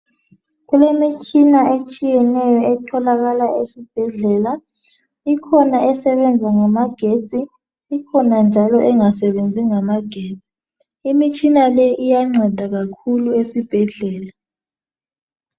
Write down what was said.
Kulemitshina etshiyeneyo etholakala esibhedlela. Ikhona esebenza ngamagetsi ikhona njalo engasebenzi ngamagetsi . Imitshina le iyanceda kakhulu esibhedlela.